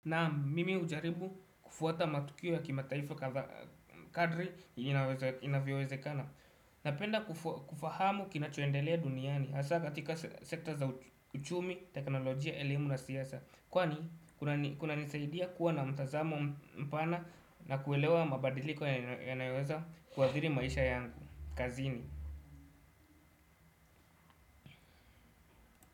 Nam mimi hujaribu kufuata matukio ya kimataifa kadri inavyowezekana. Napenda kufahamu kinachoendelea duniani. Hasa katika sekta za uchumi, teknolojia, elimu na siasa kwani, kuna nisaidia kuwa na mtazamo mpana na kuelewa mabadiliko yanayoweza kuathiri maisha yangu, kazini.